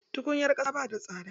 Tukunyar ƙasa ba ta da tsada.